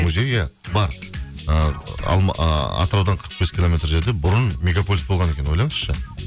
музей иә бар ыыы атыраудан қырық бес километр жерде бұрын мегаполис болған екен ойлаңызшы